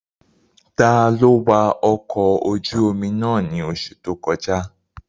Taló wa ọkọ̀ ojú-omi náà ní oṣù tó kọjá?